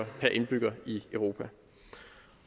per indbygger i europa